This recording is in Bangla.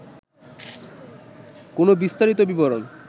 কোন বিস্তারিত বিবরণ